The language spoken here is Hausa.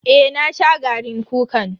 Eh na sha garin kukan.